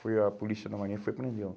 Foi a polícia da Marinha, foi prendê-lo.